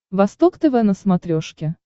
восток тв на смотрешке